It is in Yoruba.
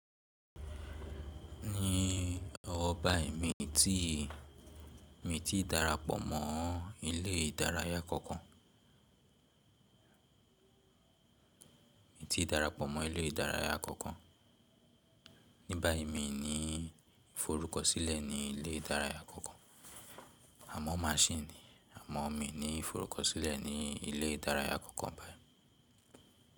Ní ọwọ́ báyìí mi ti, mi ti darapọ̀ mọ́ ilé ìdárayá kankan. Mi ti darapọ̀ mọ́ ilé ìdárayá àkọ́kọ́. Ní báyìí mi ní ìforúkọsílẹ̀ ní ilé ìdárayá kankan, à mọ́ ma ṣì ní. Àmọ́ mi ní ìforúkọsílẹ̀ ní ilé ìdárayá àkọ́kọ́ báyìí.